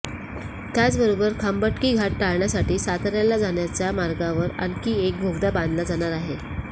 त्याचबरोबर खंबाटकी घाट टाळण्यासाठी साताऱ्याला जाण्याच्या मार्गावर आणखी एक बोगदा बांधला जात आहे